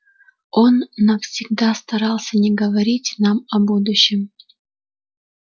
он навсегда старался не говорить нам о будущем